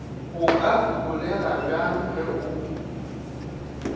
o ka holegabjang ge o